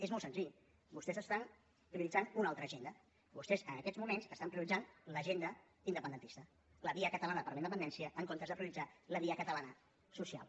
és molt senzill vostès estan prioritzant una altra agenda vostès en aquests moments estan prioritzant l’agenda independentista la via catalana per la independència en comptes de prioritzar la via catalana social